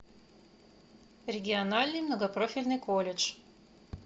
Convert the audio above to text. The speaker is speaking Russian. региональный многопрофильный колледж